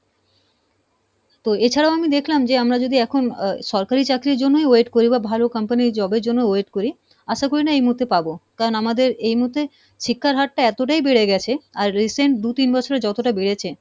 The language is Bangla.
তো এছাড়াও আমি দেখলাম যে আমরা যদি এখন আহ সরকারি চাকরির জন্যই wait করি বা ভালো company ইর job এর জন্য wait করি আশা করি না এ মুহূর্তে পাবো, কারণ আমাদের এই মুহুর্তে শিক্ষার হারটা এতটাই বেড়ে গেছে আর recent দু-তিন বছরে যতটা বেড়েছে